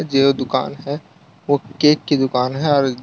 ये वो दुकान है वो केक की दुकान है और --